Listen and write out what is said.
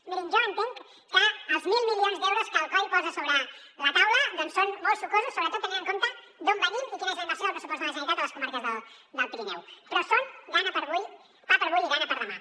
mirin jo entenc que els mil milions d’euros que el coi posa sobre la taula són molt sucosos sobretot tenint en compte d’on venim i quina és la inversió del pressupost de la generalitat a les comarques del pirineu però són pa per a avui i gana per a demà